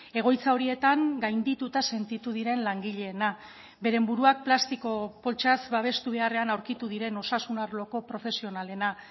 egoitza horietan gaindituta sentitu diren langileena beren buruak plastiko poltsaz babestu beharrean aurkitu diren osasun arloko profesionalena